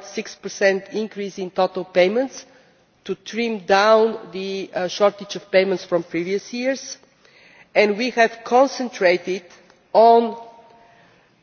1.6 increase in total payments, to trim down the shortage of payments from previous years, and we have concentrated on